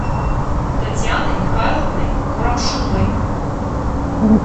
татьяной михайловной курамшиной